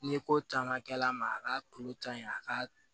Ni ko caman kɛla a ma a ka kulo ta in a ka